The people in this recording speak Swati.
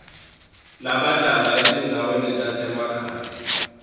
labahlala etindzaweni tasemakhaya